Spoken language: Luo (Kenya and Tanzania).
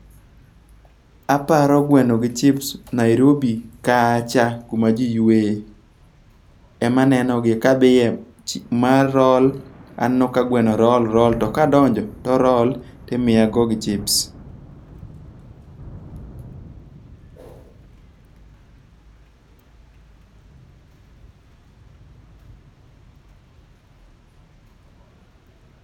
Aparo gweno gi chips Nairobi kacha kuma ji yweye, ema nenogie. ma roll. Aneno ka gweno roll, roll. To kadonjo, to roll timiyago gi chips.